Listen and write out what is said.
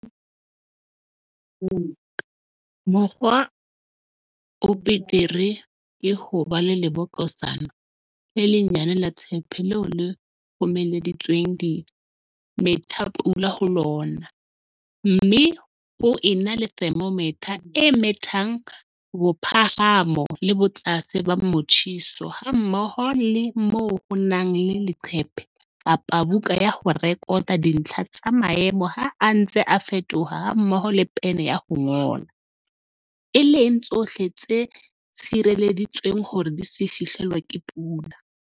Mokgwa o betere ke ho ba le lebokosana le lenyane la tshepe leo ho kgomeleditsweng dimethapula, rain gauges, ho lona, mme ho ena le thermometer e methang bophahamo le botlase ba motjheso hammoho le moo ho nang le leqephe kapa buka ya ho rekota dintlha tsa maemo ha a ntse a fetoha hammoho le pene ya ho ngola, e leng tsohle tse tshireleditsweng hore di se fihlelwe ke pula.